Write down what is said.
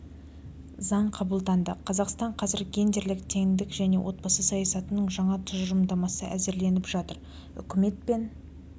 заң қабылданды қазақстан қазір гендерлік теңдік және отбасы саясатының жаңа тұжырымдамасы әзірленіп жатыр үкімет пен